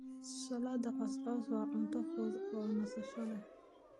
Salad Couscous waa cunto fudud oo nasasho leh.